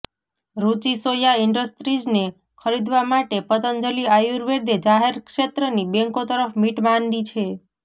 રુચિ સોયા ઈન્ડસ્ટ્રીઝને ખરીદવા માટે પતંજલિ આયુર્વેદે જાહેર ક્ષેત્રની બેંકો તરફ મિટ માંડી છે